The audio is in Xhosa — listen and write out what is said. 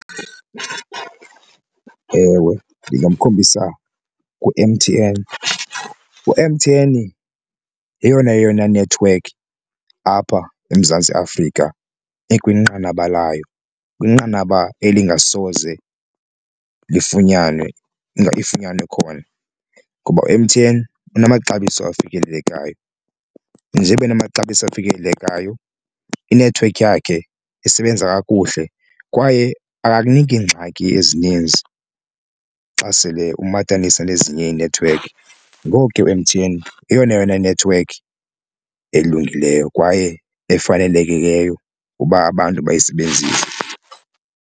Ewe, ndingamkhombisa ku-M_T_N. U-M_T_N yeyona yona nethiwekhi apha eMzantsi Afrika ikwinqanaba layo, kwinqanaba elingasoze lifunyanwe khona ngoba u-M_T_N unamaxabiso afikelelekayo. Njeba enamaxabiso afikelelekayo inethiwekhi yakhe isebenza kakuhle kwaye akakuniki ngxaki ezininzi xa sele ummatanisa nezinye iinethiwekhi, ngoku ke u-M_T_N yeyona yona nethiwekhi elungileyo kwaye efanelekileyo uba abantu bayisebenzise.